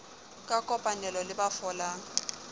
ka kopanelo le ba folang